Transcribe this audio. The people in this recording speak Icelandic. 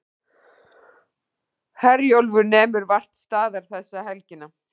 Herjólfur nemur vart staðar þessa helgina